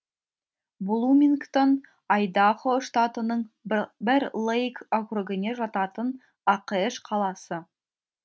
блумингтон айдахо штатының бэр лейк округіне жататын ақш қаласы